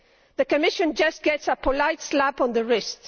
The Commission just gets a polite slap on the wrist.